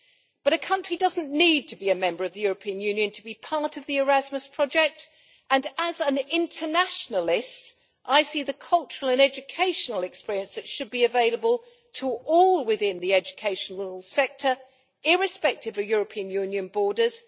But a country doesn't need to be a member of the European Union to be part of the Erasmus project, and as an internationalist I see the cultural and educational experience that should be available to all within the educational sector irrespective of European Union borders.